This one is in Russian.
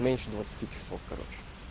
меньше двадцати часов короче